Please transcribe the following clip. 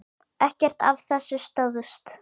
Ekkert af þessu stóðst.